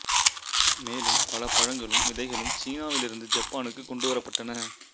மேலும் பல பழங்களும் விதைகளும் சீனாவிலிருந்து யப்பானுக்கு கொண்டு வரப்பட்டன